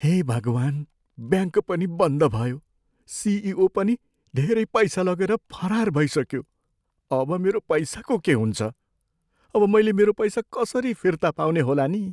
हे भगवान्! ब्याङ्क पनि बन्द भयो। सिइओ पनि धेरै पैसा लगेर फरार भइसक्यो। अब मेरो पैसाको के हुन्छ? अब मैले मेरो पैसा कसरी फिर्ता पाउने होला नि?